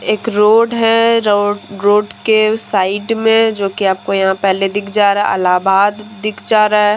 एक रोड है र रोड के साइड में जो की आपको यहाँ पहले दिख जा रहा अल्लाहाबाद दिख जा रहा है।